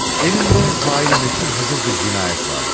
Elimdə faili məchul hazır bir cinayət vardı.